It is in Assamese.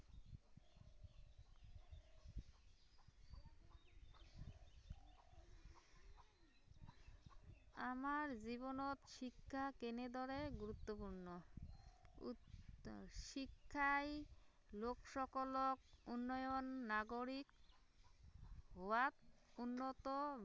আমাৰ জীৱনত শিক্ষা কেনেদৰে গুৰুত্বপূৰ্ণ শিক্ষাই লোকসকলক উন্নয়ন নাগৰিক হোৱাত উন্নত